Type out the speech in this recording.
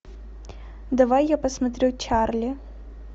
давай я посмотрю чарли